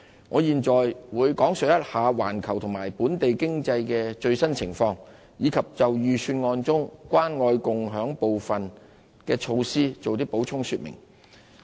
我現在會講述環球和本地經濟的最新情況，以及就預算案中"關愛共享"部分的措施作補充說明。